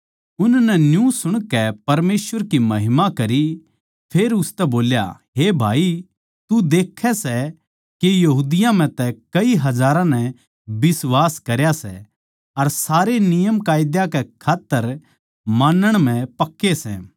उननै न्यू सुणकै परमेसवर की महिमा करी फेर उसतै बोल्या हे भाई तू देखै सै के यहूदियाँ म्ह तै कई हजारां नै बिश्वास करया सै अर सारे नियमकायदे कै खात्तर मानण म्ह पक्के सै